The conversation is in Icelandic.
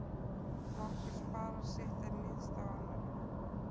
Margur sparar sitt en níðist á annarra.